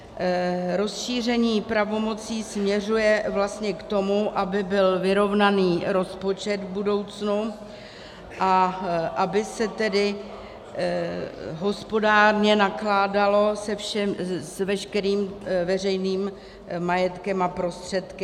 Rozšíření pravomocí směřuje vlastně k tomu, aby byl vyrovnaný rozpočet v budoucnu a aby se tedy hospodárně nakládalo s veškerým veřejným majetkem a prostředky.